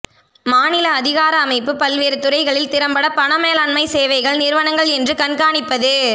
மாநில அதிகார அமைப்பு பல்வேறு துறைகளில் திறம்பட பண மேலாண்மை சேவைகள் நிறுவனங்கள் என்று கண்காணிப்பது